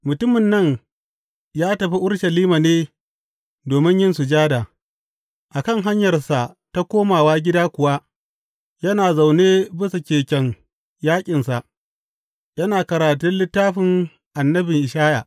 Mutumin nan ya tafi Urushalima ne domin yin sujada, a kan hanyarsa ta komawa gida kuwa yana zaune bisan keken yaƙinsa yana karatun littafin annabin Ishaya.